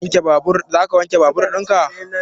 Za ka wanke babur in ka?